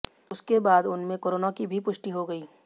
उसके बाद उनमें कोरोना की भी पुष्टि हो गई